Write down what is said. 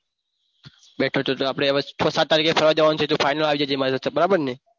બેઠો છે તો આપણે હવે છ સાત તારીખે ફરવા જવાનું છે જો final આવી જજે મારી સાથે બરાબરને?